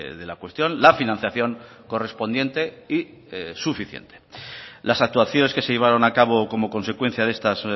de la cuestión la financiación correspondiente y suficiente las actuaciones que se llevaron a cabo como consecuencia de estas